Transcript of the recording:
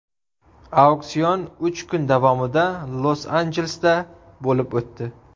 Auksion uch kun davomida Los-Anjelesda bo‘lib o‘tdi.